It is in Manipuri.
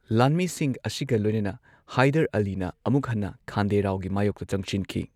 ꯂꯥꯟꯃꯤꯁꯤꯡ ꯑꯁꯤꯒ ꯂꯣꯏꯅꯅ ꯍꯥꯢꯗꯔ ꯑꯂꯤꯅ ꯑꯃꯨꯛ ꯍꯟꯅ ꯈꯥꯟꯗꯦ ꯔꯥꯎꯒꯤ ꯃꯥꯌꯣꯛꯇ ꯆꯪꯁꯤꯟꯈꯤ꯫